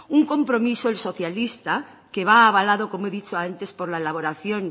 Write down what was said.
un compromiso el socialista que va avalado como he dicho antes por la elaboración